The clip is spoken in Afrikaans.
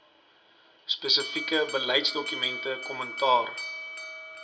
spesifieke beleidsdokumente kommentaar